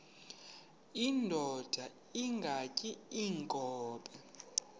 indod ingaty iinkobe